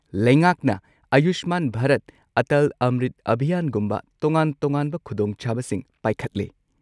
ꯂꯩꯉꯥꯛꯅ ꯑꯌꯨꯁꯃꯥꯟ ꯚꯥꯔꯠ, ꯑꯇꯜ ꯑꯝꯔꯤꯠ ꯑꯚꯤꯌꯥꯟꯒꯨꯝꯕ ꯇꯣꯉꯥꯟ-ꯇꯣꯉꯥꯟꯕ ꯈꯨꯗꯣꯡꯆꯥꯕꯁꯤꯡ ꯄꯥꯏꯈꯠꯂꯦ꯫